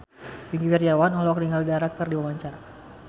Wingky Wiryawan olohok ningali Dara keur diwawancara